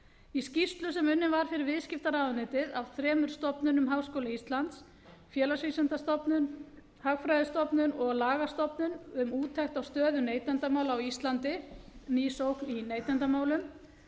í skýrslu sem unnin var fyrir viðskiptaráðuneytið af þremur stofnunum háskóla íslands félagsvísindastofnun hagfræðistofnun og lagastofnun um úttekt á stöðu neytendamála á íslandi ný sókn í neytendamálum